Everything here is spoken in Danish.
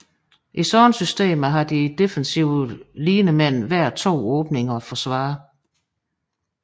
I sådanne systemer har de defensive linemen hver to åbninger at forsvare